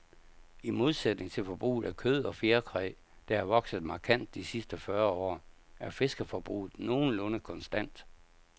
I modsætning til forbruget af kød og fjerkræ, der er vokset markant de sidste fyrre år, er fiskeforbruget nogenlunde konstant.